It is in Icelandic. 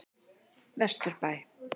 Vesturbæ